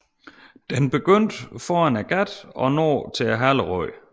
Den begynder foran gattet og når til haleroden